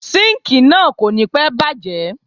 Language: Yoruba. Síńkìì náà kò ní pẹ́ bàjé.